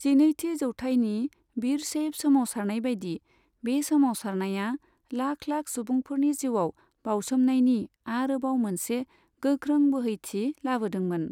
जिनैथि जौथाइनि बिरशैब सोमावसारनायबायदि, बे सोमावसारनाया लाख लाख सुबुंफोरनि जिउआव बाउसोमनायनि आरोबाव मोनसे गोख्रों बोहैथि लाबोदोंमोन।